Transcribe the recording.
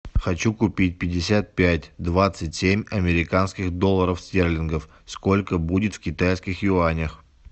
хочу купить пятьдесят пять двадцать семь американских долларов стерлингов сколько будет в китайских юанях